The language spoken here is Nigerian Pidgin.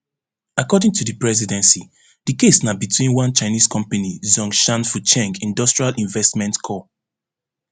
according to di presidency di case na between one chinese company zhongshan fucheng industrial investment co